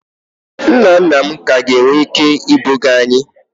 Nna nna m ka ga-enwe ike ibuga anyi